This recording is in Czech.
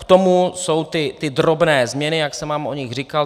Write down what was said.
K tomu jsou ty drobné změny, jak jsem vám o nich říkal.